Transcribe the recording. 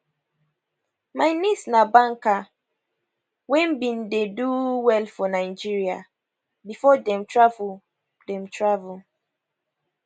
my niece na banker wey bin dey do well for nigeria before dem travel dem travel